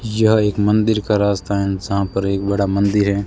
यह एक मंदिर का रास्ता है एंड जहां पर एक बड़ा मंदिर है।